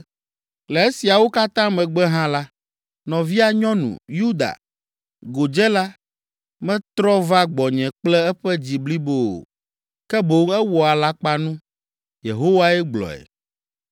Le esiawo katã megbe hã la, nɔvia nyɔnu, Yuda, godzela, metrɔ va gbɔnye kple eƒe dzi blibo o, ke boŋ ewɔ alakpanu.” Yehowae gblɔe.